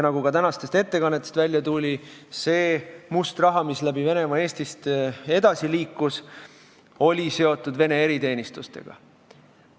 Nagu ka tänastest ettekannetest välja tuli, see must raha, mis Venemaalt tulles Eestist edasi liikus, oli seotud Vene eriteenistustega.